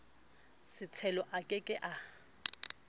setshelo a ke ke a